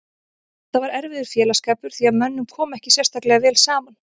Þetta var erfiður félagsskapur því að mönnum kom ekki sérstaklega vel saman.